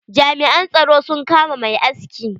Jami'an tsaro sun kama mai aski.